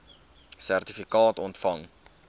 sertifikaat ontvang